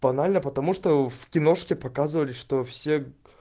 банально потому что в киношке показывали что все